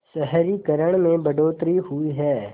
शहरीकरण में बढ़ोतरी हुई है